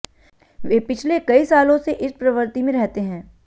वे पिछले कई सालों से इस प्रवृत्ति में रहते हैं